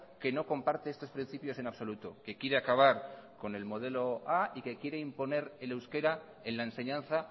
que no comparte estos principios en absoluto que quiere acabar con el modelo a y que quiere imponer el euskera en la enseñanza